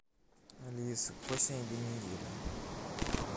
алиса какой сегодня день недели